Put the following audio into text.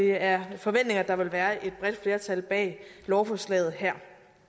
er forventningen at der vil være et bredt flertal bag lovforslaget her